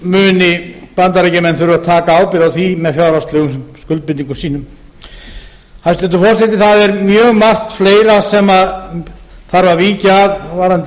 þá munu bandaríkjamenn þurfa að taka ábyrgð á því með fjárhagslegum skuldbindingum sínum hæstvirtur forseti það er mjög margt fleira sem þarf að víkja að varðandi